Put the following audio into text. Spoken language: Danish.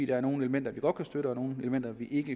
der er nogle elementer vi godt kan støtte og nogle elementer vi ikke